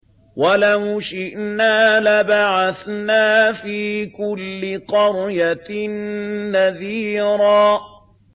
وَلَوْ شِئْنَا لَبَعَثْنَا فِي كُلِّ قَرْيَةٍ نَّذِيرًا